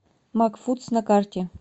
макфудс на карте